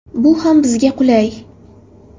Bu ham bizga qulay.